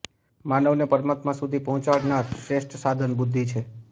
માનવને પરમાત્મા સુધી પહોંચાડનાર શ્રેષ્ઠ સાધન બુદ્ધિ છે